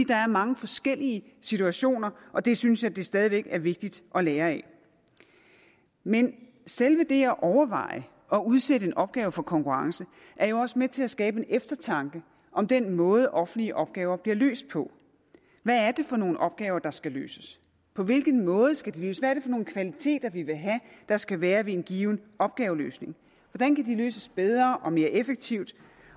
der er mange forskellige situationer og det synes jeg stadig væk er vigtigt at lære af men selve det at overveje at udsætte en opgave for konkurrence er jo også med til at skabe en eftertanke om den måde offentlige opgaver bliver løst på hvad er det for nogle opgaver der skal løses på hvilken måde skal de løses hvad er nogle kvaliteter vi vil have der skal være ved en given opgaveløsning hvordan kan de løses bedre og mere effektivt